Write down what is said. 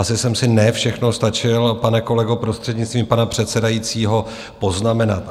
Asi jsem si ne všechno stačil, pane kolego, prostřednictvím pana předsedajícího, poznamenat.